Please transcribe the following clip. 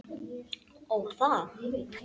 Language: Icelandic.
Ó, það.